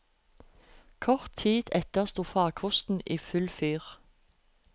Kort tid etter sto farkosten i full fyr.